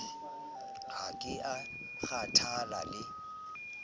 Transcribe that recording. ha ke a kgathala le